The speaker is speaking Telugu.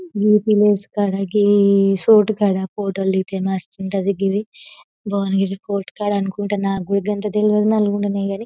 ఈ ప్లేస్ కదా ఈ సోటు కదా ఫోటోలు దిగితే మస్తు వుంటాది జివి బోనగిరి ఫోర్ట్ కాడా అనుకుంట --